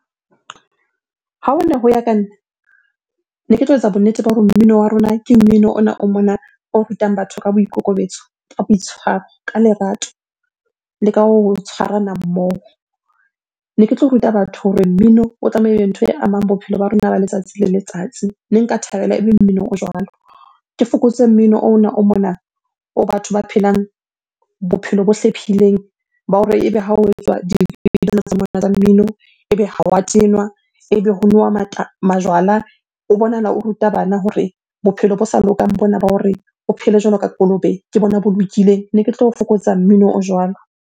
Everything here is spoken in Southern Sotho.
Ha hone ho ya ka nna, ne ke tlo etsa bonnete ba hore mmino wa rona ke mmino ona o mona o rutang batho ka boikokobetso, ka boitshwaro, ka lerato le ka ho tshwarana mmoho. Ne ke tlo ruta batho hore mmino o tlamehile ntho e amang bophelo ba rona ba letsatsi le letsatsi, ne nka thabela ebe mmino o jwalo. Ke fokotse mmino ona o mona oo batho ba phelang bophelo bo hlephileng ba hore ebe ha o etswa di mmino, ebe ha wa tenwa, ebe ho nowa ho majwala. O bonahala o ruta bana hore bophelo bo sa lokang bona ba hore o phele jwalo ka kolobe, ke bona bo lokileng. Ne ke tlo fokotsa mmino o jwalo.